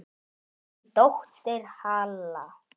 Þín dóttir, Halla.